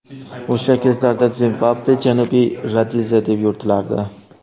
O‘sha kezlarda Zimbabve Janubiy Rodeziya deb yuritilardi.